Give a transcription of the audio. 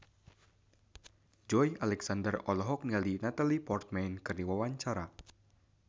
Joey Alexander olohok ningali Natalie Portman keur diwawancara